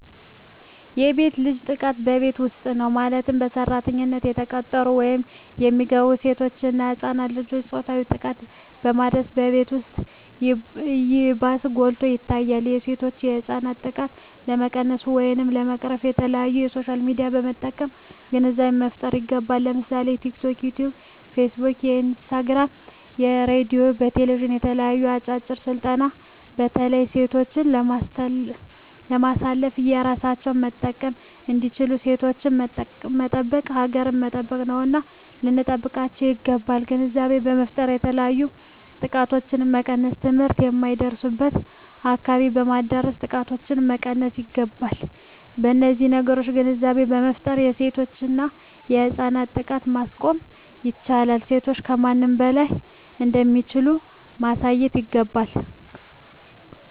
የሴት ልጅ ጥቃት በቤት ዉስጥ ነዉ ማለትም በሰራተኛነት የተቀጠሩ ወይም የሚገቡሴቶች እና ህፃናት ልጆችን ፆታዊ ጥቃትን በማድረስ በቤት ዉስጥ ይባስ ጎልቶ ይታያል የሴቶችና የህፃናት ጥቃት ለመቀነስ ወይም ለመቅረፍ በተለያዩ በሶሻል ሚድያዎችን በመጠቀም ግንዛቤ መፍጠር ይገባል ለምሳሌ በቲክቶክ በዮትዮብ በፊስ ቡክ በኢንስታግራም በሬድዮ በቴሌብዥን በተለያዩ አጫጭር ስልጠናዎች በተለይ ሴቶችን በማሳተፍ እራሳቸዉን መጠበቅ እንዲችሉና ሴቶችን መጠበቅ ሀገርን መጠበቅ ነዉና ልንጠብቃቸዉ ይገባል ግንዛቤ በመፍጠር የተለያዮ ጥቃቶችን መቀነስ ትምህርት የማይደርሱበትን አካባቢዎች በማዳረስ ጥቃቶችን መቀነስ ይገባል በነዚህ ነገሮች ግንዛቤ በመፍጠር የሴቶችና የህፃናትን ጥቃት ማስቆም ይቻላል ሴቶች ከማንም በላይ እንደሚችሉ ማሳየት ይገባል